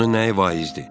Onun nəyi vaizdir?